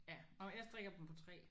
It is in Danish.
Ja og jeg strikker dem på 3